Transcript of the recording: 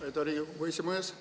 Aitäh, hea Riigikogu esimees!